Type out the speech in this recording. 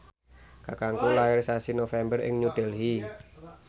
kakangku lair sasi November ing New Delhi